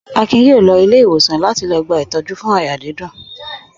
Akin yóò lọ ilé-ìwòsàn láti lọ gba ìtọ́jú fún àyà dídùn.